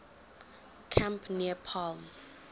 camp near palm